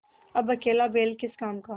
अब अकेला बैल किस काम का